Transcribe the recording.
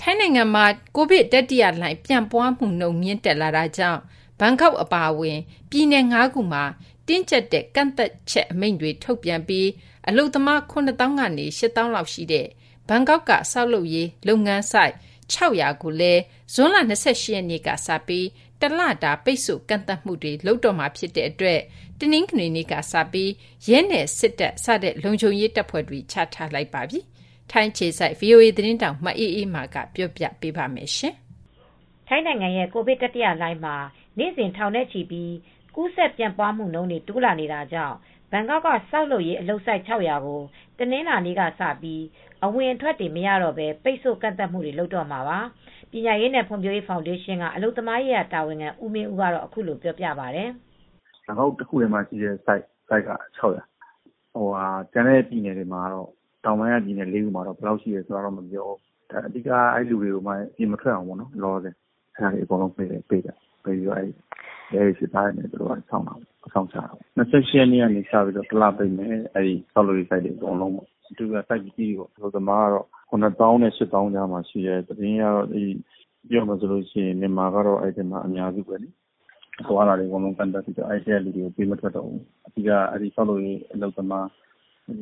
ထိုင်းနိုင်ငံမှာ ကိုဗစ်တတိယလှိုင်း ပြန့်ပွားမှုနှုန်း မြင့်တက်လာနေတာကြောင့် ဘန်ကောက်အပါအဝင် ပြည်နယ် ၅ ခုမှာ တင်းကျပ်တဲ့ ပိတ်ဆို့ကန့်သတ်တဲ့ အမိန့်ကို ထုတ်ပြန်ပြီး အလုပ်သမား ၇ သောင်းကနေ ၈ သောင်းလောက်ရှိတဲ့ ဘန်ကောက်က ဆောက်လုပ်ရေးအလုပ်ဆိုက် ၆၀၀ ကိုလည်း ဇွန်လ ၂၈ ရက်နေ့ကစပြီး တလပိတ်ဆို့ကန့်သတ်မှုတွေ လုပ်တော့မှာ ဖြစ်တဲ့အတွက် တနင်္ဂနွေနေ့ကစပြီး ရဲနဲ့ စစ်တပ် စတဲ့ လုံခြုံရေးတပ်ဖွဲ့တွေ ချထားလိုက်ပါပြီ။ အပြည့်အစုံကို မအေးအေးမာ တင်ပြပေးထားပါတယ်။ ထိုင်းနိုင်ငံရဲ့ ကိုဗစ်တတိယလှိုင်းမှာ နေ့စဉ် ထောင်နဲ့ချီပြီး ကူးစက်ပြန့်ပွားမှုတွေ တိုးလာနေတာကြောင့် ဘန်ကောက်က ဆောက်လုပ်ရေးအလုပ်ဆိုက် ၆၀၀ ကို တနင်္လာနေ့ကစပြီး အဝင်အထွက်တွေ မရတော့ဘဲ ပိတ်ဆို့ကန့်သတ်မှုတွေ လုပ်တော့မှာပါ။ ပညာရေးနဲ့ ဖွံ့ဖြိုးရေး ဖောင်ဒေးရှင်းက အလုပ်သမားရေးရာ တာဝန်ခံ ဦးမင်းဦးက အခုလိုပြောပြပါတယ်။ “ဘန်ကောက်တခုတည်းမှာပဲ ဆိုက်က ၆၀၀၊ ကျန်တဲ့ပြည်နယ်တွေ တောင်ပိုင်းက ပြည်နယ်လေးခုမှာတော့ ဘယ်လောက်ရှိတယ် မပြောဘူး။ အဓိကကတော့ အဲဒီလူတွေကို အပြင်မထွက်အောင် ပိတ်ပြီး ရဲတွေ၊ စစ်သားတွေ အစောင့်ချထားတယ်၊ အစောင့်ထားတယ်။ ၂၈ ရက်နေ့ကကစပြီး တလပိတ်မယ်။ ဆောက်လုပ်ရေးဆိုက်တွေ အကုန်လုံးပေါ့။ အဓိကဆိုက်ကြီးတွေ၊ အလုပ်သမားက ၇ သောင်းနဲ့ ၈ သောင်းကြားရှိတယ်။ အလုပ်သမားတွေက မြန်မာကတော့ အများစုပဲ။ အသွားအလာတွေ ကန့်သတ်ပြီးတော့ အဲဒီထဲကနေ ပေးမထွက်တော့ဘူး။ အဓိကတော့ ဆောက်လုပ်ရေး အလုပ်သမားတွေက